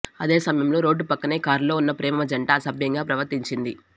అదే సమయంలో రోడ్డు పక్కనే కారులో ఉన్న ప్రేమ జంట అసభ్యంగా ప్రవర్తించింది